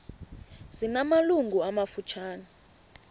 zina malungu amafutshane